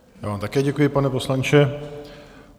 Já vám také děkuji, pane poslanče.